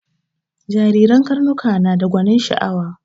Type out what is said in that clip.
Jariren karnuka nada gwanin sha'awa